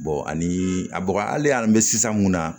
ani a bɔgɔ hali ni bɛ sisan mun na